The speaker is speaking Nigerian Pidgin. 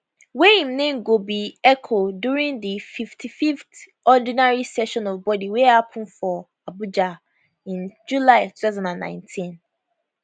wey im name go be eco during di 55th ordinary session of body wey happen for abuja in july 2019